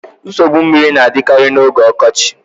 Nsogbu mmiri na-adịkarị n'oge ọkọchị